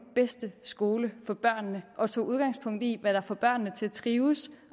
bedste skole for børnene og tog udgangspunkt i hvad der får børnene til at trives